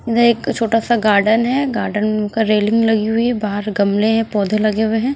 एक छोटा सा गार्डन है गार्डन का रेलिंग लगी हुई है बाहर गमले पौधे लगे हुए हैं।